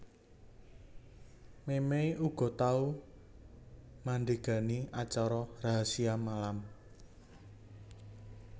Memey uga tau mandhegani acara Rahasia Malam